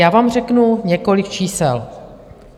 Já vám řeknu několik čísel.